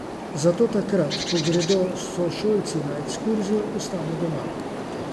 Zato takrat, ko gredo sošolci na ekskurzijo, ostanem doma.